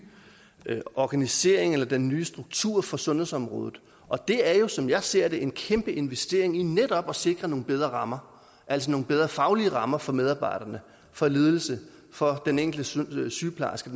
organisering eller den nye struktur for sundhedsområdet og det er jo som jeg ser det en kæmpe investering i netop at sikre nogle bedre rammer altså nogle bedre faglige rammer for medarbejderne for ledelsen for den enkelte sygeplejerske